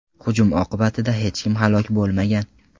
Hujum oqibatida hech kim halok bo‘lmagan.